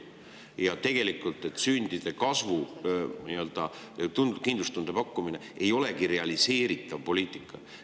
Ja, et sündide kasv ja kindlustunde pakkumine ei olegi tegelikult realiseeritav poliitika.